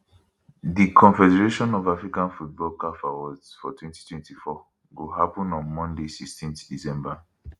di confederation of african football caf awards for 2024 go happun on monday 16 december